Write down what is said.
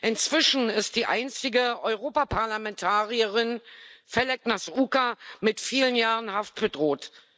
Inzwischen ist die einzige Europaparlamentarierin Feleknas Uca mit vielen Jahren Haft bedroht.